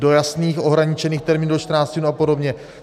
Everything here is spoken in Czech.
Do jasných, ohraničených termínů, do 14 dnů a podobně.